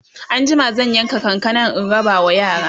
anjima zan yanka kankanan in rabawa yara